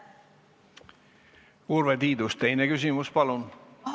Urve Tiidus, teine küsimus, palun!